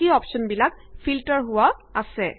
বাকী অপশ্যনবিলাক ফিল্টাৰ হোৱা আছে